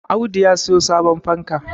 Audu ya siyo sabon fanka